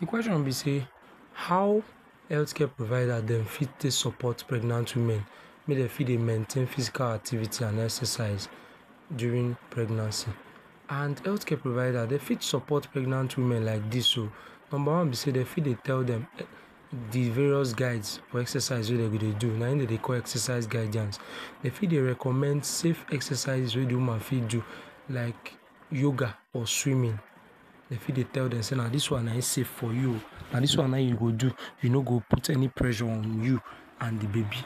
The question be sey, how healthcare provide dem fit take support pregnant women, mek dem fit dey maintain physical activities and exercise during pregnancy and healthcare providers dey fit support pregnant women like dis um, number one be sey dey fit dey tell dem the various guides or exercises wey dem go dey do, na im dem dey call exercise guidance, dem fit dey recommend save exercises wey de woman fit do, like yoga or swumming, dey fit dey tell dem sey na dis wan na im save for you um, na dis wan na[um]you go do, e no go put any pressure on you and dey baby,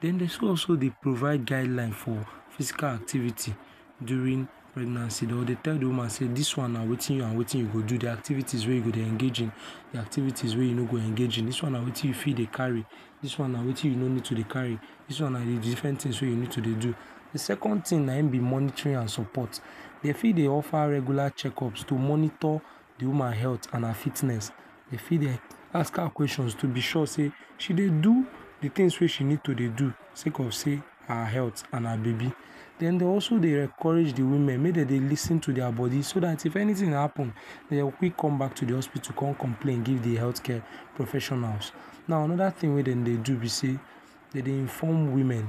then dey so also dey provide guideline for physical activities during pregnancy or dey tell de woman sey na wetin and wetin you go do, de activities wey you go engage in dey activities wey you no go engage in, dis wan na wetin you fit dey carry, dis wan na wetin you no fit dey carry, dis na de different tings wey you no too dey do, de second ting na e be monitoring and support, dey fit dey offer regular checkups to monitor de woman health and her fitness, dey fit dey ask her questions to be sure sey she dey do de tings wey she need to dey do sey cause sey her health and her baby and den also dey encourage women mek dem dey lis ten to dia body so dat if anyting happen dey go quick come back to hospital con complain give de healthcare professionals now anoda ting wey dem dey do be sey dem dey inform women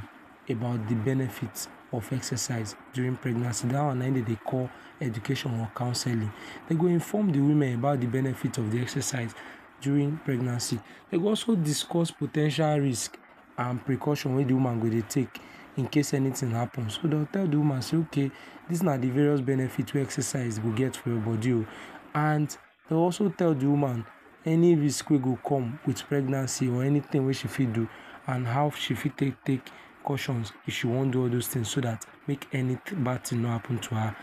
about de benefit of exercise during pregnancy dat wan na im dem dey call education or counselling, dey go inform de women about de benefit of the exercise during pregnancy dey go also discuss po ten tial risk and precaution wey de woman go dey take in case anyting happens, so dey would tell the woman say ok, dis na de various benefit wey exercise go get for your body um and dey would also tell de woman any risk wey go come with pregnancy or anyting wey she fit do and how she fit take take caution if she wan do all those tings so that make any bad ting no happen to her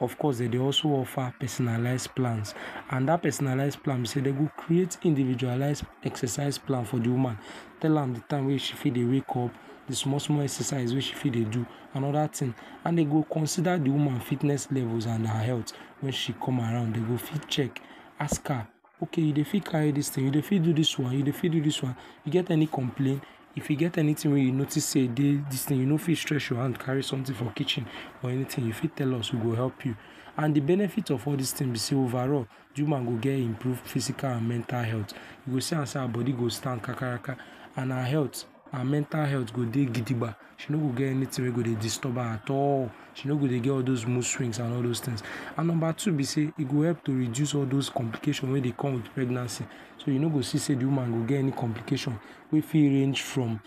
of cause dem dey also offer personalized plans and dat personalize plan be sey dey go create individualize exercise plan for de woman tell am de time wey she fit dey wakeup, de small small exercise she fit dey do and other tings and e go consider dey woman fitness level and her health wen she come around dey go fit check ask her ok you dey fit carry dis ting, you go fit do dis one, you dey fit do dis one, you get any complain, if you dey any ting wey you notice dey dis ting you no fit stretch you hand carry someting from kitchen or anyting you fit tell us you go help you and de benefit of all dis tings overall de woman go get improvement physical and mental health you go see am sey her body go stand kakaraka and her health her mental health go dey gidiga she no go get anyting wey go disturb her at all, she no go dey get all those mode swings and all those tings and number two be sey e go help to reduce all those complication wey dey come with pregnancy, so you go see say de woman go get any complication wey fit range from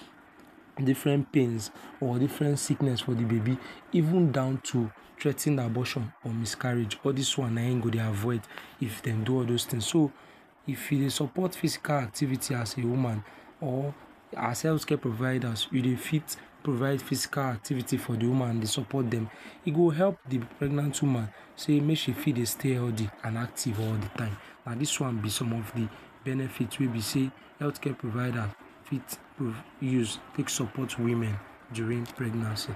different pains or different sickness for the baby even down to threa ten abortion or miscarriage all dis one na im you go dey avoid if dem do all those tings so if you dey support physical activities as a woman or as healthcare providers you dey fit provide physical activities for the woman and dey support dem e go help de pregnant woman say make she fit dey stay health and active all de time and dis wan be some of de benefit wey be say healthcare providers fit use support women during pregnancy